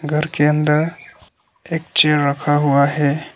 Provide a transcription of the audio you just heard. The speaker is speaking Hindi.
घर के अंदर एक चेयर रखा हुआ है।